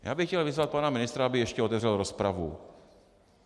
Já bych chtěl vyzvat pana ministra, aby ještě otevřel rozpravu.